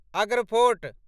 Agra fort